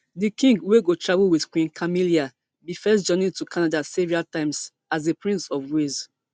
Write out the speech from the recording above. di king wey go travel wit queen camilla bin first journey to canada several times as di prince of wales